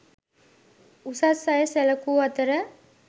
උසස් අය සැලකූ අතර